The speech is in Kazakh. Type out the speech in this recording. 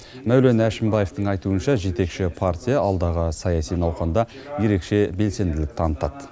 мәулен әшімбаевтың айтуынша жетекші партия алдағы саяси науқанда ерекше белсенділік танытады